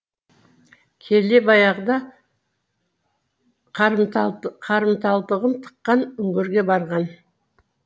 келе баяғыда қарамталтығын тыққан үңгірге барған